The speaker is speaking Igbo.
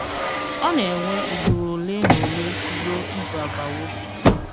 Ọ na-ewe ùgbùrù ọ̀lè na ọ̀lè rùò ìzù àbàwò.